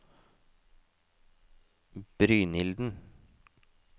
Brynilden